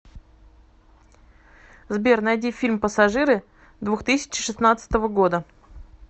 сбер найди фильм пассажиры двух тысячи шестнадцатого года